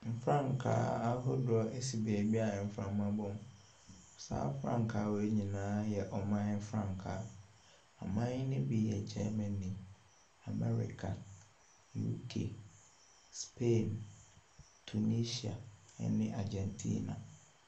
Mfrankaaahodoɔ ɛsi beebi mframa ɛrebɔ mu. Saa mfrankaa yi nyinaa ɛyɛ ɔman frankaa, aman ɛbi yɛ Germani, UK, America, Spain, Tunisia ɛne Argentina.